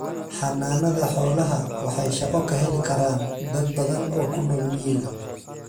Xanaanada xoolaha waxay shaqo ka heli karaan dad badan oo ku nool miyiga.